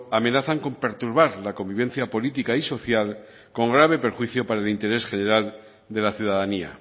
amenazan con perturbar la convivencia política y social con grave perjuicio para el interés general de la ciudadanía